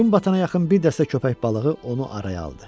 Gün batana yaxın bir dəstə köpək balığı onu araya aldı.